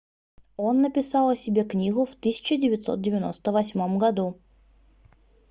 он написал о себе книгу в 1998 году